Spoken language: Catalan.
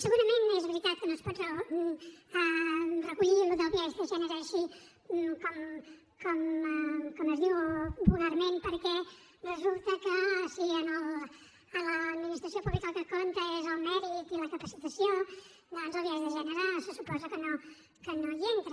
segurament és veritat que no es pot recollir allò del biaix de gènere així com es diu vulgarment perquè resulta que si en l’administració pública el que compta és el mèrit i la capacitació doncs el biaix de gènere se suposa que no hi entra